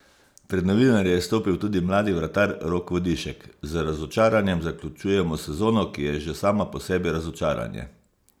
Pred novinarje je stopil tudi mladi vratar Rok Vodišek: "Z razočaranjem zaključujemo sezono, ki je že sama po sebi razočaranje.